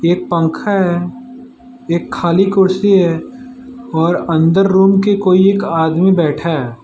एक पंखा है। एक खाली कुर्सी है और अंदर रूम के कोई एक आदमी बैठा है।